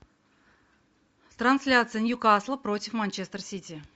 трансляция ньюкасла против манчестер сити